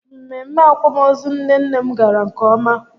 Mmemme akwamozu nne nne m gara nke ọma